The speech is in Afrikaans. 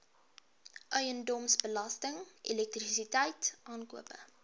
eiendomsbelasting elektrisiteit aankope